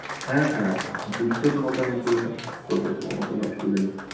হ্যাঁ হ্যাঁ! করে দেব আমার কোনো অসুবিধা নেই।